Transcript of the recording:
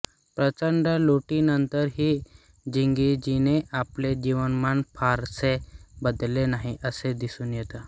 प्रचंड लुटीनंतरही चंगीझने आपले जीवनमान फारसे बदलले नाही असे दिसून येते